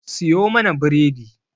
Siyo mana bredi.